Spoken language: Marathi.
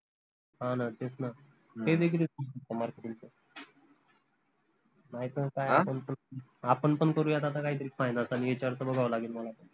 हान तेच न ते देखील नाई त आपन पन आपन पन करूयात आता काही तरी finance आनि HR च बघावं लागेल मला आता